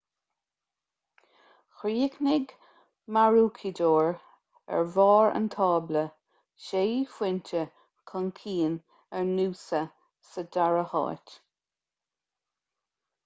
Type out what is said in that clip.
chríochnaigh maroochydore ar bharr an tábla sé phointe chun cinn ar noosa sa dara háit